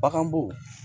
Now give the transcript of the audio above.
Baganbo